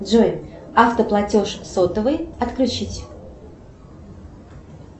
джой автоплатеж сотовый отключить